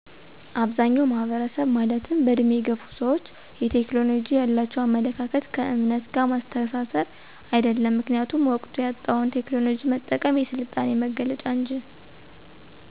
አብዛኛዉ ማህበረሰብ ማለትም በዕድሜ የገፉ ሰዎች የቴክኖሎጂ ያላቸዉ አመለካከት ከዕምነት ጋር ማስተሳሰር። አይደለም ምክኒያቱም ወቅቱ ያመጣዉን ቴክኖሎጂ መጠቀም የስልጣኔ መገለጫ እንጂ